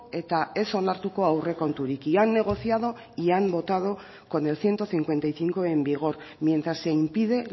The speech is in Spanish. eta ez onartuko aurrekonturik y han negociado y han votado con el ciento cincuenta y cinco en vigor mientras se impide